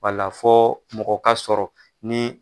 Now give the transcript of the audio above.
Wala fɔ mɔgɔ ka sɔrɔ ni